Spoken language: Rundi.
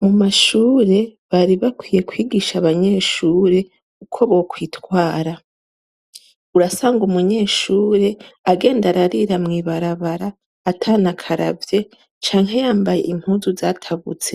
Mumashure, bari bakwiye Kwigisha abanyeshure uko bitwara. Urasanga umunyeshure , agenda ararira mw’ibarabara atanakaravye canke yambaye impuzu zatabutse.